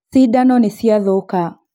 Cindano nĩciathũka